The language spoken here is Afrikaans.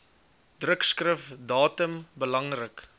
drukskrif datum belangrik